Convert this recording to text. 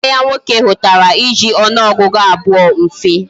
Nwanne ya nwoke hutara iji onuogugu abuo mfe